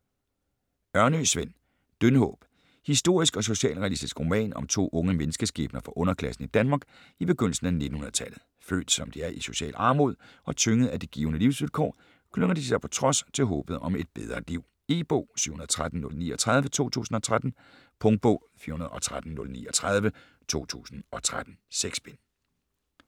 Ørnø, Sven: Dyndhåb Historisk og socialrealistisk roman om to unge menneskeskæbner fra underklassen i Danmark i begyndelsen af 1900-tallet. Født som de er i social armod, og tyngede af givne livsvilkår, klynger de sig på trods til håbet om et bedre liv. E-bog 713039 2013. Punktbog 413039 2013. 6 bind.